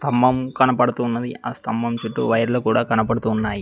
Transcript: స్తంభం కనపడుతున్నది ఆ స్తంభం చుట్టూ వైర్లు కూడా కనబడుతున్నాయ్.